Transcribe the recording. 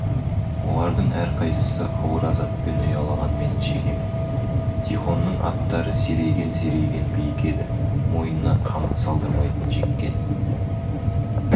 олардың әрқайсысы ауыр азаппен ұялаған менің шекеме тихонның аттары серейген-серейген биік еді мойнына қамыт салдырмайтын жеккен